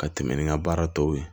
Ka tɛmɛ ni n ka baara tɔw ye